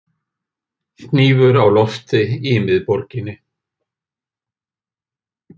Hnífur á lofti í miðborginni